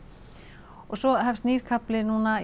og svo hefst nýt kafli núna í